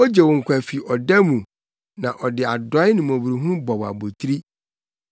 ogye wo nkwa fi ɔda mu, na ɔde adɔe ne mmɔborɔhunu bɔ wo abotiri,